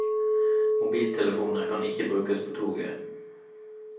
Mobiltelefoner kan ikke brukes på toget.